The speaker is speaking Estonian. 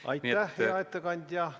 Aitäh, hea ettekandja!